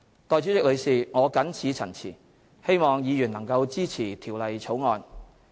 代理主席，我謹此陳辭，希望議員能支持《條例草案》。